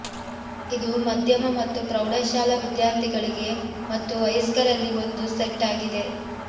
ಇದು ಮಧ್ಯಮ ಮತ್ತು ಪ್ರೌಢಶಾಲಾ ವಿದ್ಯಾರ್ಥಿಗಳಿಗೆ ಮತ್ತು ವಯಸ್ಕರಲ್ಲಿ ಒಂದು ಸೆಟ್ ಆಗಿದೆ